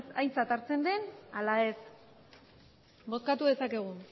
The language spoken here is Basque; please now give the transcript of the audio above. aintzat hartzen den ala ez bozkatu dezakegu